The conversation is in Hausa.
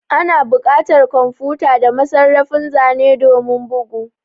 Ana buƙatar kwamfuta da masarrafin zane domin bugu